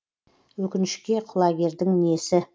өкінішке құлагердің несі